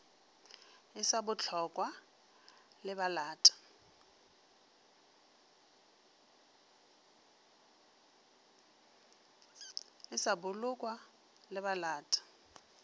e sa bolokwa le balata